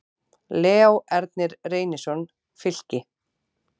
Leó Ernir Reynisson, Fylki